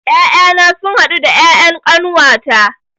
Ƴaƴana sun haɗu da ƴaƴan ƙanuwata